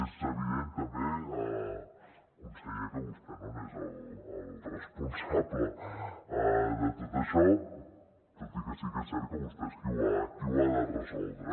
és evident també conseller que vostè no n’és el responsable de tot això tot i que sí que és cert que vostè és qui ho ha de resoldre